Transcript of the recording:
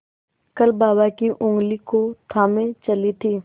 कल बाबा की ऊँगली को थामे चली थी